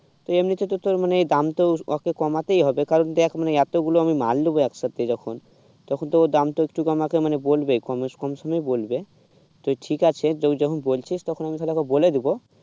এমনিতে তো তোর মানে দামটা ওকে কমাতেই হবে কারণ দেখ মানে এতগুলো আমি মাল নেবো একসাথে যখন তখন তো দামটা একটু কম করতে তো বলবই কম সমি বলবে তো ঠিক আছে তুই যখন বলছিস তখন তাহলে আমি ওকে বলে দেব